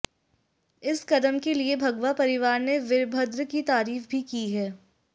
इस कदम के लिए भगवा परिवार ने वीरभद्र की तारीफ भी की है